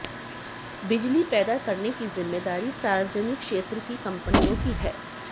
बिजली पैदा करने की जिम्मेदारी सार्वजनिक क्षेत्र की कंपनियों की है